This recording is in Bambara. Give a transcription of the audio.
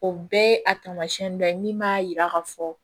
O bɛɛ ye a taamasiyɛn dɔ ye min b'a yira ka fɔ